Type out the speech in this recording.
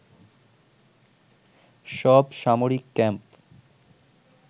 সব সামরিক ক্যাম্প